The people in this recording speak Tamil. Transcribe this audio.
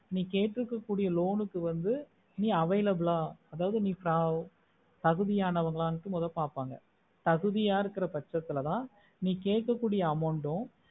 நீ கேட்டுருக்க கூறிய loan வந்து நீ available ஆஹ் அதாவது நீ தகுதி அனவங்கள்னு மொத பாப்பாங்க தகுதியா இருக்குற பட்சத்துலதான் நீ கேக்க கூடிய amount ட்டும்